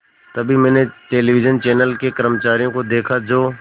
तभी मैंने television channel के कर्मचारियों को देखा जो